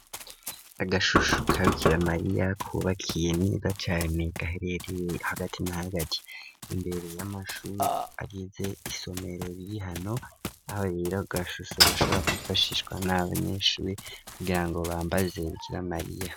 Agashusho kabikira Mariya kubakiye nega cane gaherereye hagati na hagati imbere y'amashuri agize isomero ririhano aho rero gashusho gashobora kwifashishwa n'abanyeshuri kugirango bambaze Bikira Mariya.